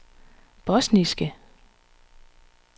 bosniske